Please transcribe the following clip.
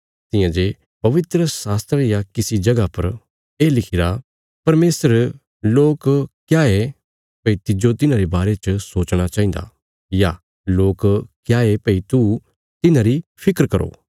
तियां जे पवित्रशास्त्रा रिया किसी जगह पर ये लिखिरा परमेशर लोक क्या ये भई तिज्जो तिन्हांरे बारे च सोचणा चाहिन्दा या लोक क्या ये भई तू तिन्हांरी फिक्र कराँ